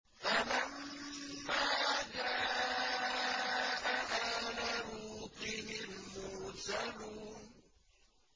فَلَمَّا جَاءَ آلَ لُوطٍ الْمُرْسَلُونَ